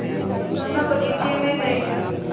हम दोनो बगीचे मे गये